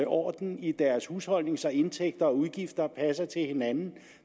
orden i deres husholdning så indtægter og udgifter passer til hinanden